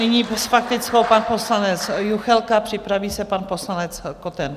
Nyní s faktickou pan poslanec Juchelka, připraví se pan poslanec Koten.